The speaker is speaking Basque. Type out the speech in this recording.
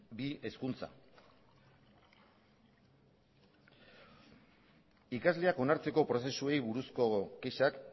bi hezkuntza ikasleak onartzeko prozesuei buruzko kexak